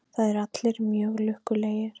Það eru allir mjög lukkulegir.